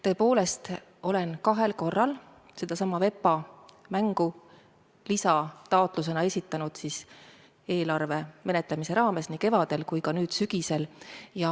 Tõepoolest, olen kahel korral sedasama VEPA mängu rahastamise lisataotlust esitanud eelarve menetlemise raames, nii kevadel kui ka nüüd sügisel.